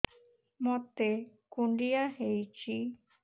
ମୋତେ କୁଣ୍ଡିଆ ହେଇଚି